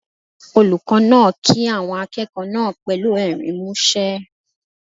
Olùkọ́ náà kí àwọn akẹ́kọ̀ọ́ náà pẹ̀lú ẹ̀rín músẹ́.